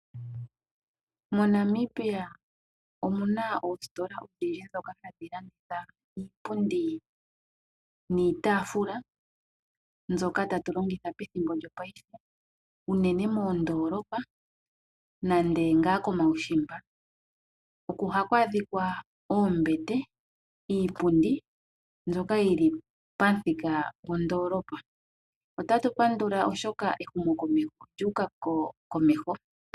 MoNamibia omuna oositola odhindji ndhoka hadhi landitha iipundi niitaafula mbyoka tatu longitha pethimbo ndoka lyopaife, unene moondoolopa nande ngaa komaushimba, oko haku adhika oombete, iipundi mbyoka yili pamuthika gondoolopa. Ota tu pandula, oshoka ehumokomeho olyu uka komeho.